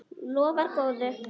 Lofar góðu!